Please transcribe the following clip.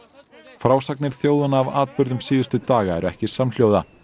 frásagnir þjóðanna af atburðum síðustu daga eru ekki samhljóða